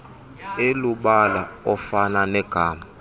elubala ofana negama